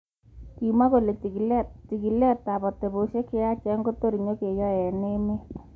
Chigulet ab cheyachen ab atepey ab emet kotor nyigeyae, kimwa.